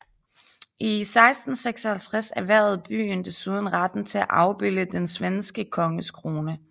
I 1656 erhvervede byen desuden retten til at afbilde den svenske konges krone